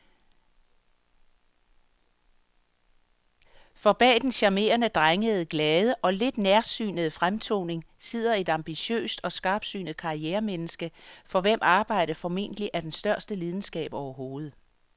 For bag den charmerende, drengede, glade og lidt nærsynede fremtoning sidder et ambitiøst og skarpsynet karrieremenneske, for hvem arbejdet formentlig er den største lidenskab overhovedet.